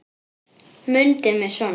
Mundu mig svona.